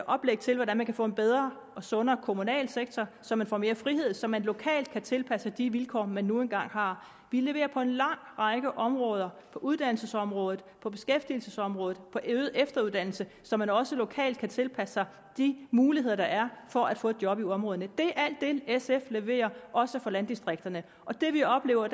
oplæg til hvordan man kan få en bedre og sundere kommunal sektor så man får mere frihed så man lokalt kan tilpasse sig de vilkår man nu engang har vi leverer på en lang række områder på uddannelsesområdet på beskæftigelsesområdet på øget efteruddannelse så man også lokalt kan tilpasse sig de muligheder der er for at få et job i områderne det er det sf leverer også for landdistrikterne det vi oplever